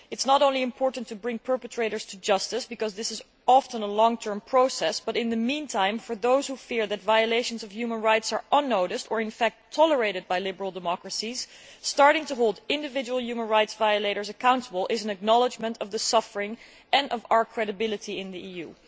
It is not only important to bring perpetrators to justice, because this is often a long term process, but in the meantime, for those who fear that violations of human rights are unnoticed or in fact tolerated by liberal democracies, starting to hold individual human rights violators accountable is an acknowledgement of the suffering and of our credibility in the EU.